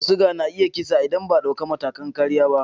Ciwon suga na iya kisa idan ba a dauki matakan kariya ba.